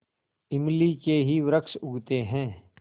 इमली के ही वृक्ष उगते हैं